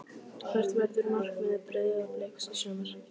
Hvert verður markmið Breiðabliks í sumar?